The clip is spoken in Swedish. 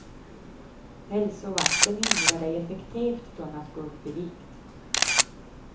Hälsovakten hindrar dig effektivt från att gå upp i vikt.